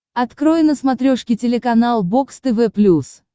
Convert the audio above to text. открой на смотрешке телеканал бокс тв плюс